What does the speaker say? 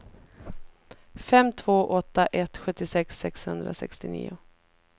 fem två åtta ett sjuttiosex sexhundrasextionio